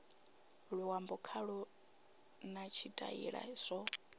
luambo khalo na tshitaila zwo